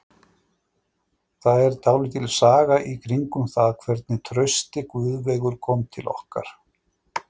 Það er dálítil saga í kringum það hvernig Trausti Guðveigur kom til okkar.